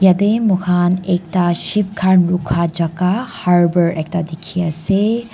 etey moi khan ekta ship khan rukha chaka harbour ekta dikey ase.